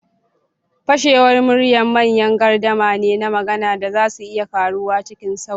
Fashewar murya manyan gardama ne na magana da za su iya karuwa cikin sauri.